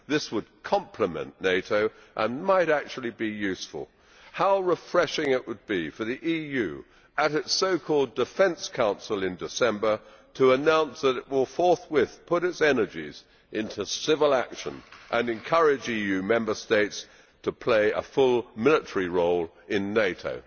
This would complement NATO and might actually be useful. How refreshing it would be for the EU at its so called Defence Council in December to announce that it will forthwith put its energies into civil action and encourage EU Member States to play a full military role in NATO.